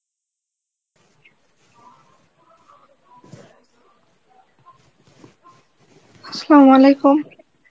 Arbi